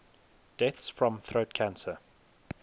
deaths from throat cancer